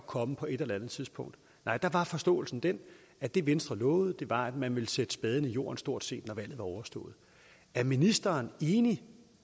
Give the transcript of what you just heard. komme på et eller andet tidspunkt nej der var forståelsen den at det venstre lovede var at man ville sætte spaden i jorden stort set når valget var overstået er ministeren enig